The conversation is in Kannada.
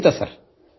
ಖಂಡಿತ ಸರ್